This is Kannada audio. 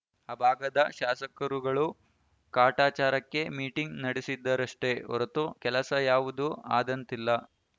ಆ ಭಾಗದ ಶಾಸಕರುಗಳೂ ಕಾಟಾಚಾರಕ್ಕೆ ಮೀಟಿಂಗ್‌ ನಡೆಸಿದರಷ್ಟೇ ಹೊರತು ಕೆಲಸ ಯಾವುದೂ ಆದಂತಿಲ್ಲ